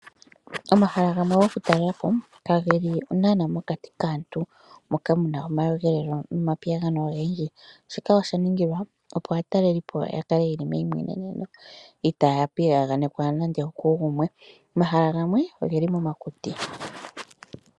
Omahala gamwe go kutalelapo keli naanaa mokati kaantu ,ashike ogeli momakuti moka kaamuna nando omakudhilo gasha.